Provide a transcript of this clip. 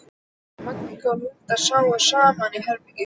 Magga og Hulda sváfu saman í herbergi.